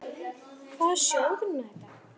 Hvaða sjóður er nú þetta?